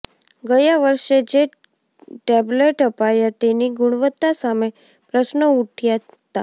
ગયા વર્ષે જે ટેબ્લેટ અપાયા તેની ગુણવત્તા સામે પ્રશ્નો ઉઠયાં હતા